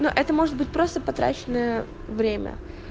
но это может быть просто потраченное время